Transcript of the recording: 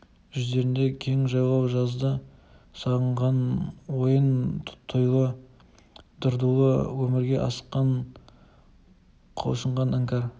жүздерінде кең жайлау жазды сағынған ойын-тойлы дырдулы өмірге асыққан құлшынған іңкәр